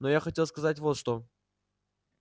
но я хотел сказать вот что